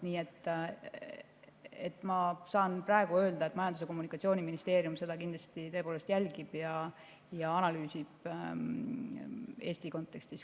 Nii et ma saan praegu öelda, et Majandus‑ ja Kommunikatsiooniministeerium seda kindlasti tõepoolest jälgib ja analüüsib ka Eesti kontekstis.